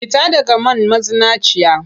Fita daga man mazinaciya!